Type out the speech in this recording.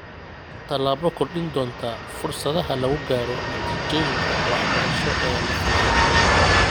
Tallaabo kordhin doonta fursadaha lagu gaaro natiijooyinka waxbarasho ee la filayo.